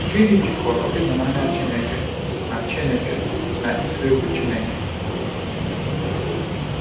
Gịnị jikọrọ ịhụnanya Chineke na Chineke na ịtụ egwu Chineke?